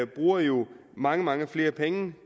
bruger jo mange mange flere penge